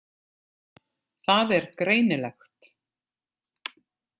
Það er greinilegt.